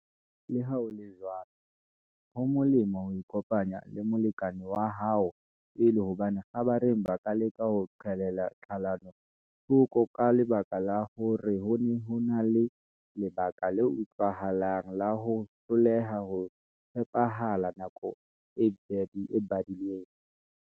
Leha ho le jwalo, ho molemo ho ikopanya le molekane wa hao pele hobane kgabareng ba ka leka ho qhelela tlhalano thoko ka lebaka la hore ho ne ho na le lebaka le utlwahalang la ho hloleha ho tshepahalla nako e badilweng.